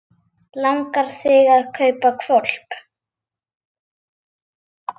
Langar þig að kaupa hvolp?